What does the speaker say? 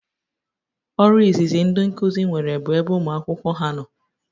Ọrụ izizi ndị nkuzi nwere bụ na ebe ụmụ akwụkwọ ha nọ